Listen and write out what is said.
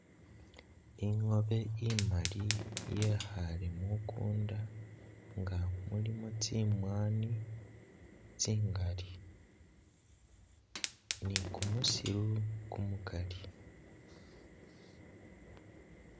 Ingoobe imaali yekhale mukunda nga mulimo tsimwaani tsingali ni kumusiru kumukali